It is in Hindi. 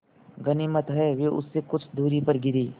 गनीमत है वे उससे कुछ दूरी पर गिरीं